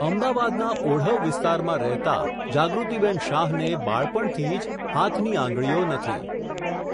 અમદાવાદના, ઓઢવ વિસ્તારમાં રહેતા, જાગૃતિબહેન શાહને, બાળપણથી જ, હાથની આંગળીઓ નથી.